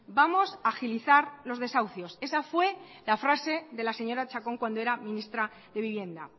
vamos a agilizar los desahucios esa fue la frase de la señora chacón cuando era ministra de vivienda